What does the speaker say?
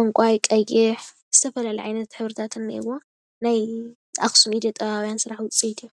ዕንቖዋይ፣ ቀይሕ ዝተፈላለዩ ዓይነት ሕብርታት እንአዎ፡፡ ናይ ኣክሱም ኢደጥበባውያን ስራሕ ውፅኢት እዩ፡፡